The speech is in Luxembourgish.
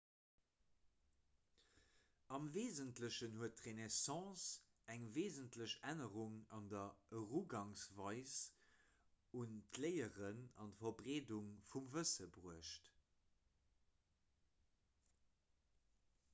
am weesentlechen huet d'renaissance eng weesentlech ännerung an der erugangsweis un d'léieren an d'verbreedung vu wësse bruecht